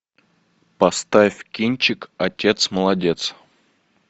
поставь кинчик отец молодец